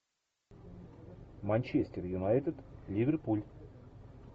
манчестер юнайтед ливерпуль